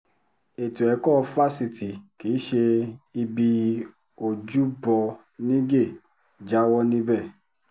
ètò ẹ̀kọ́ fásitì kì í ṣe ibi ojúbọ nígẹ̀ jáwọ́ níbẹ̀